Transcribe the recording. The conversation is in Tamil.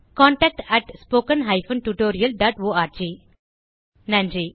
contact at spoken hyphen tutorial dot org நன்றி